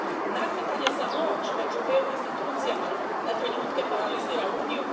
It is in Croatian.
Nadmetanje za moć među EU institucijama na trenutke paralizira Uniju.